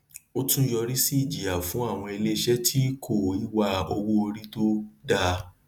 ó tún yọrísí ìjìyà fún àwọn iléiṣẹ tí kó ìwà owóorí tó dáa